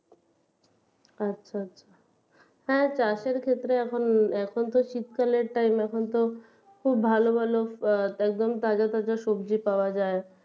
আচ্ছা হ্যাঁ চাষের ক্ষেত্রে এখন এখন তো শীতকালের time এখন তো খুব ভালো ভালো একদম তাজা তাজা সবজি পাওয়া যায়